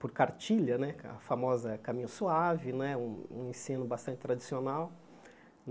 por Cartilha né, a famosa Caminho Suave né, um um ensino bastante tradicional.